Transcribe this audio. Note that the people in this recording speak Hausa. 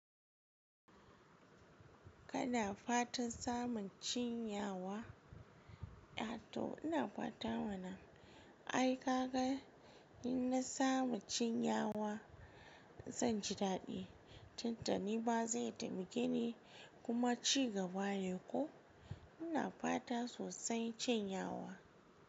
Kada fatan samun cin yawa, ai toh ina fata wannan aika ga in na samu cin yawa zan ji dadi. Tuntuni ba zai taimake ni kuma ci gaba ne, ko ina fata sosai cin yawa.